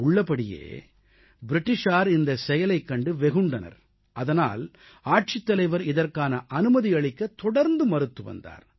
உள்ளபடியே ஆங்கிலேயர்கள் இந்தச் செயலைக் கண்டு வெகுண்டனர் அதனால் ஆட்சித்தலைவர் இதற்கான அனுமதி அளிக்கத் தொடர்ந்து மறுத்து வந்தார்